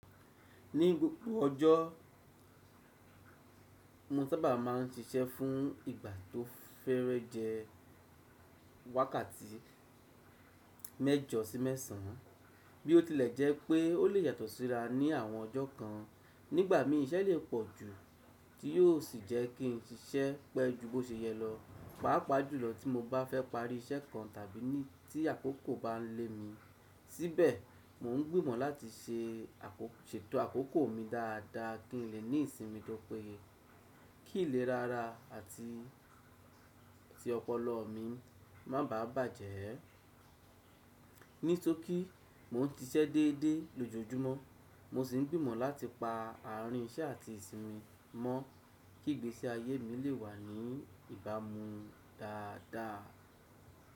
Ní gbogbo ọjọ́, mo sábà máa ń ṣíṣẹ́ fún ìgbà tó fẹ́rẹ́ jẹ wákàtí mẹ́jọ sí mẹ́sàn án. Bí ó tilẹ̀ jẹ́ pé ó lè yàtọ̀ síra ní àwọn ọjọ́ kan, nígbà míí iṣẹ́ le pọ̀ jù tí yóò sì jẹ́ kí n ṣíṣẹ́ pẹ́ ju bó ṣe yẹ lọ, pàápàá jùlọ tí mo bá fẹ́ parí iṣẹ́ kan tàbí ní tí àkókò bá ń lé mi síbẹ̀. Mo ń gbìmọ̀ láti ṣe ṣètò àkókò mi dáadáa kí n lè ní ìsinmi tó péye, kì í lè rara àti tí ọpọlọ mi má bàà bàjẹ́ ẹ. Nítorí mo ń ṣiṣẹ́ déédéé lójoojúmọ́, mo sì ń gbìmọ̀ láti pa àárín iṣẹ́ àti ìsinmi mọ́ kí ìgbésí ayé mi lè wà ní ìbámu dáadáa.